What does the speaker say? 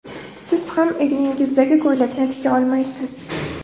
Siz ham egningizdagi ko‘ylakni tika olmaysiz.